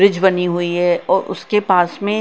bridge बनी हुई है और उसके पास में--